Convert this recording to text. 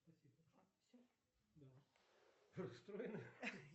сбер ширина джин бао